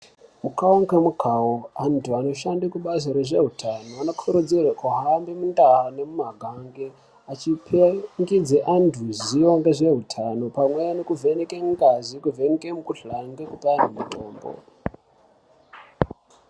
Mukawo ngemukawo antu anoshande kubazi rezveutano anokurudzirwa kuhamba mundau nemumaganga achipangidze antu zivo ngezveutano pamwe nekuvheneke ngazi, nekuvheneke mikhuhlane nekuti ane mitombo.